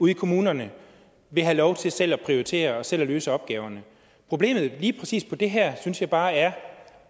i kommunerne vil have lov til selv at prioritere og selv løse opgaverne problemet i forbindelse lige præcis det her synes jeg bare er